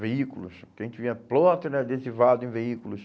veículos, que a gente via ploter adesivado em veículos.